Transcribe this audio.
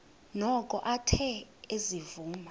noko athe ezivuma